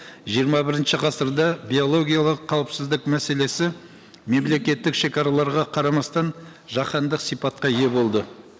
жиырма бірінші ғасырда биологиялық қауіпсіздік мәселесі мемлекеттік шегараларға қарамастан жаһандық сипатқа ие болды